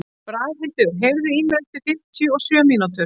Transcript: Braghildur, heyrðu í mér eftir fimmtíu og sjö mínútur.